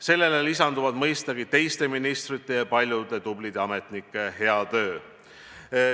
Sellele lisandub mõistagi teiste ministrite ja paljude tublide ametnike hea töö.